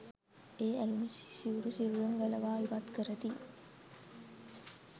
ඒ ඇලුනු සිවුරු සිරුරෙන් ගලවා ඉවත් කරති